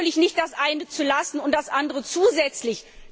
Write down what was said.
Natürlich nicht das eine zu lassen und das andere zusätzlich.